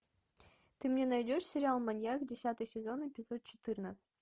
ты мне найдешь сериал маньяк десятый сезон эпизод четырнадцать